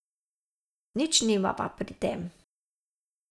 Nič nimava pri tem.